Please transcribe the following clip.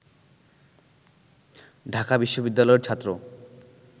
ঢাকা বিশ্ববিদ্যালয়ের ছাত্র